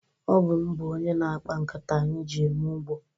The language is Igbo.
Ọ bụ m bụ onye na-akpa nkata anyị ji eme ugbo.